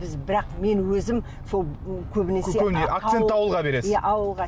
біз бірақ мен өзім сол көбінесе акцент ауылға бересіз иә ауылға